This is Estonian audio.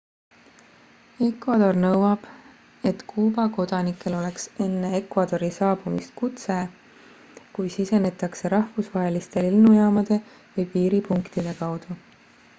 ecuador nõuab et kuuba kodanikel oleks enne ecuadori saabumist kutse kui sisenetakse rahvusvaheliste lennujaamade või piiripunktide kaudu